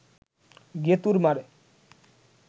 গেঁতুর মারে